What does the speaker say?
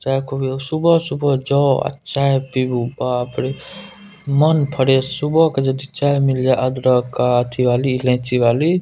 चाय-कॉफी अ सुबह-सुबह जोअ आर चाय पीबू बाप रे मन फ्रेश सुबह के यदि चाय मिल जाय अदरक अ अथी वाली इलाची वाली ।